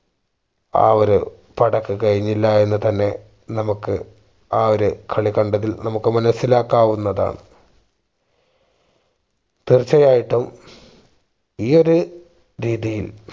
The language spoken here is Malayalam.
ആ ഒരു പടക്ക് കഴിഞ്ഞില്ല എന്നുതന്നെ നമുക്ക് ആ ഒരു കളി കണ്ടതിൽ നമുക്ക് മനസ്സിലാക്കാവുന്നതാണ് തീർച്ചയായിട്ടും ഈ ഒരു രീതിയിൽ